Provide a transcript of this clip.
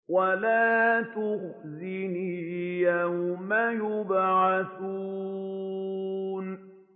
وَلَا تُخْزِنِي يَوْمَ يُبْعَثُونَ